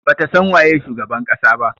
Bata san waye shugaban kasa ba.